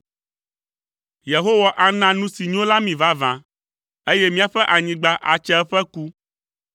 Yehowa ana nu si nyo la mí vavã, eye míaƒe anyigba atse eƒe ku.